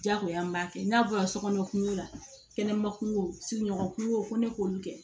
Diyagoya n b'a kɛ n'a bɔra sokɔnɔ kunko la kɛnɛma kungo sigiɲɔgɔn kun ko ne k'olu kɛ